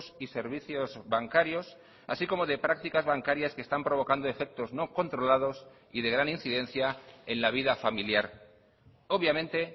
y servicios bancarios así como de prácticas bancarias que están provocando efectos no controlados y de gran incidencia en la vida familiar obviamente